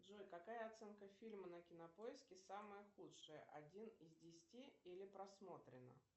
джой какая оценка фильма на кинопоиске самая худшая один из десяти или просмотренно